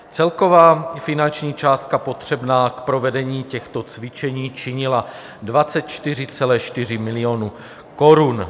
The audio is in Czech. Celková finanční částka potřebná k provedení těchto cvičení činila 244 milionů korun.